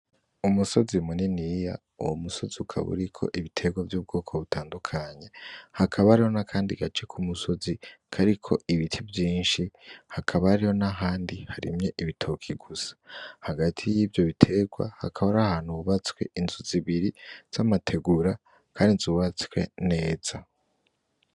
Umusozi muniniya, uwo musozi ukaba uriko ibiterwa vy’ubwoko butandukanye, hakaba hariho n’akandi gace ku musozi kariko ibiti vyinshi, hakaba hariho n’ahandi harimye ibitoke gusa. Hagati y’ivyo biterwa hakaba hari ahantu hubatswe inzu zibiri z’amategura kandi zubatswe neza.